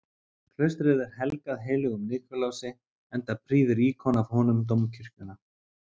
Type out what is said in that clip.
Klaustrið er helgað heilögum Nikulási, enda prýðir íkon af honum dómkirkjuna.